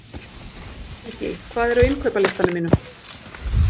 Gígí, hvað er á innkaupalistanum mínum?